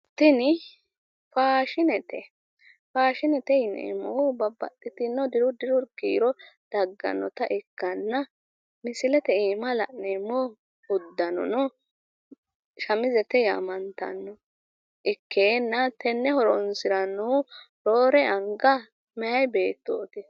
tini faashinete faashinete yineemmoti babaxitino diru diru kiiro daggannota ikkitanna tenne roore anga horonsirannohu meyaa beettooti.